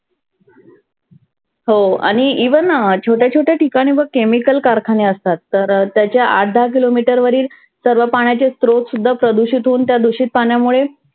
हो आणि even अं छोट्या छोट्या ठिकाणी बघ chemical कारखाने असतात. तर त्याच्या आठ दहा किलो मितर वरील सर्व पाण्याचे स्रोत सुद्धा प्रदुषीत होऊन, त्या दुषीत पाण्यामुळे